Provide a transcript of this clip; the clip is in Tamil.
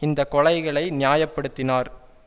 இந்த கொலைகளை நியாய படுத்தினார்